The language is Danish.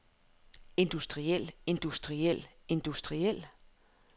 industriel industriel industriel